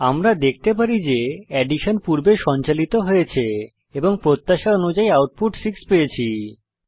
আমরা দেখতে পারি যে অ্যাডিশন পূর্বে সঞ্চালিত হয়েছে এবং প্রত্যাশা অনুযায়ী আউটপুট 6 পেয়েছি